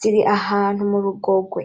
ziri ahantu murugogwe